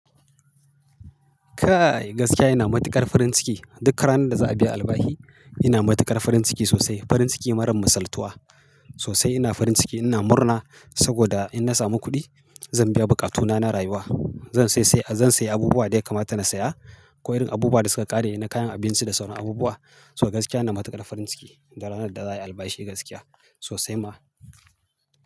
Kai! Gaskiya ina matuƙar farin ciki. Duk ranar da za a biya albahi, ina matuƙar farin ciki sosai. Farin ciki marar misaltuwa, sosai ina farin ciki. Ina murna, saboda in na samu kuɗi zan biya buƙatuna na rayuwa. Zan sayi abubuwa da ya kamata na saya ko irin abubuwa da suka ƙare na kayan abinci da sauran abubuwa. To gaskiya ina matuƙar farin ciki da ranar da za a yi albashi gaskiya sosai ma.